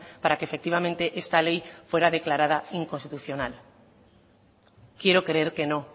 para que efectivamente esta ley fuera declarada inconstitucional quiero creer que no